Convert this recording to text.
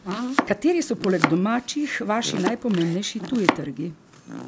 Kateri so poleg domačih vaši najpomembnejši tuji trgi?